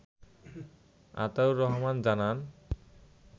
আতাউর রহমান জানান